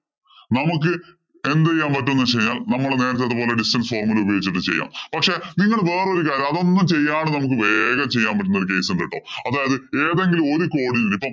നമുക്ക് എന്ത് ചെയ്യാം പറ്റും എന്ന് വച്ച് കഴിഞ്ഞാല്‍ നമ്മള് നേരത്തെ ഇതുപോലെ distance formula ഉപയോഗിച്ചിട്ട് ചെയ്യാം. പക്ഷേ നിങ്ങള് വേറെ ഒരു കാര്യം അതൊന്നും അതൊന്നും ചെയ്യാതെ നമുക്ക് വേഗം ചെയ്യാന്‍ പറ്റുന്ന ഒരു case ഉണ്ട് കേട്ടോ. അതായത് ഏതെങ്കിലും ഒരു കോണില്‍ നിന്നും ഇപ്പൊ